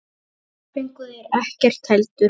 Þar fengu þeir ekkert heldur.